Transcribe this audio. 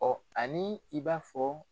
ani i b'a fɔ.